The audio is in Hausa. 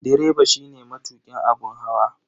Direba shine matukin abun hawa.